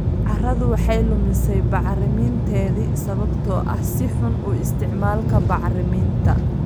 Carradu waxay lumisay bacriminteedii sababtoo ah si xun u isticmaalka bacriminta.